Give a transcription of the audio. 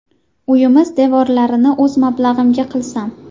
Uyimiz devorlarini o‘z mablag‘imga qilsam.